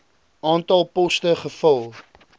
aantal poste gevul